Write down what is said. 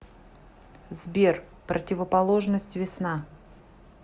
сбер противоположность весна